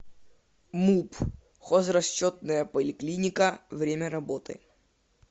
муп хозрасчетная поликлиника время работы